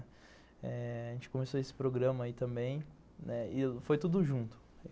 Eh... A gente começou esse programa aí também e foi tudo junto.